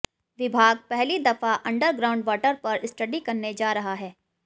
विभाग पहली दफा अंडर ग्राउंड वाटर पर स्टडी करने जा रहा है